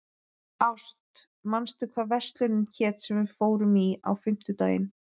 Ást, manstu hvað verslunin hét sem við fórum í á fimmtudaginn?